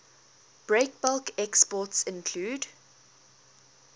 breakbulk exports include